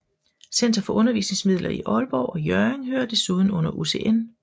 Center for Undervisningsmidler i Aalborg og Hjørring hører desuden under UCN